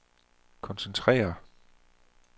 koncentrere